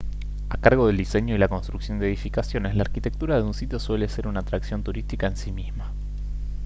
a cargo del diseño y la construcción de edificaciones la arquitectura de un sitio suele ser una atracción turística en sí misma